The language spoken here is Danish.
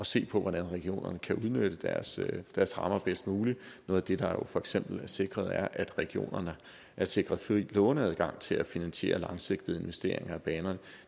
se på hvordan regionerne kan udnytte deres deres rammer bedst muligt noget af det der jo for eksempel er sikret er at regionerne er sikret fri låneadgang til at finansiere langsigtede investeringer i banerne